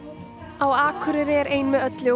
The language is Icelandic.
á Akureyri er ein með öllu og